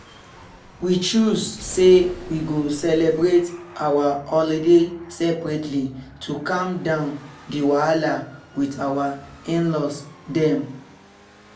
we choose say we go celebrate our holiday seperately to calm down di wahala with our in-laws dem